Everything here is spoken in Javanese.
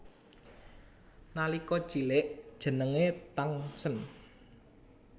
Nalika cilik jenengé Tangsen